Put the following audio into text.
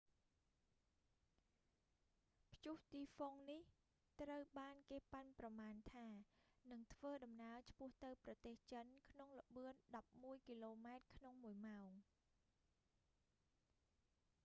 ព្យុះទីហ្វុងនេះ ត្រូវបានគេប៉ាន់ប្រមាណថានឹងធ្វើដំណើរឆ្ពោះទៅប្រទេសចិនក្នុងល្បឿនដប់មួយគីឡូម៉ែត្រក្នុងមួយម៉ោង